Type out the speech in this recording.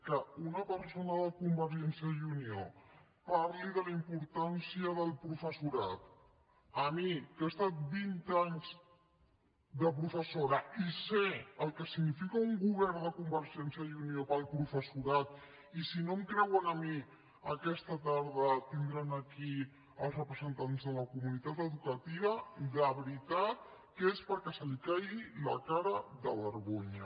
que una persona de convergència i unió parli de la importància del professorat a mi que he estat vint anys de professora i unió per al professorat i si no em creuen a mi aquesta tarda tindran aquí els representants de la comunitat educativa de veritat que és perquè li caigui la cara de vergonya